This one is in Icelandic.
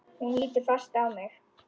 Hún lítur fast á mig.